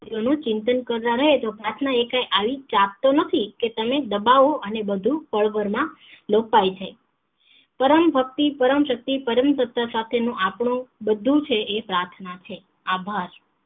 એનું ચિંતન કરતા રહીયે તો પ્રાર્થના એ કઈ આવી ચાપ તો નથી કે તમે દબાવો અને બધું પળ ભર માં લોપાય જાય પરમભક્તિ પરમશક્તિ સતા સાથે નો આપનો બધું છે એ પ્રાર્થના છે આભાર